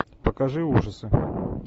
покажи ужасы